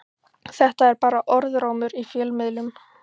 Þetta er bara orðrómur í fjölmiðlum.